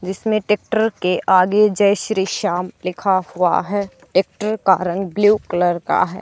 जिसमें ट्रैक्टर के आगे जय श्री श्याम लिखा हुआ है। ट्रैक्टर का रंग ब्लू कलर का है।